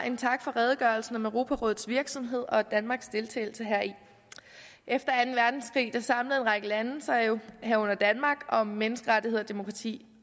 en tak for redegørelsen om europarådets virksomhed og danmarks deltagelse heri efter anden verdenskrig samlede en række lande herunder danmark om menneskerettigheder og demokrati